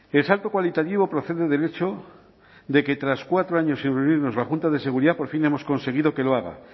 el salto cualitativo procede del hecho de que tras cuatro años sin reunirnos la junta de seguridad por fin hemos conseguido que lo haga